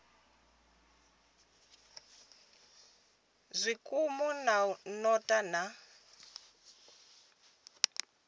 zwikimu zwa u notha na